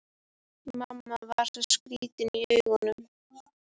Mamma var svo skrýtin í augunum.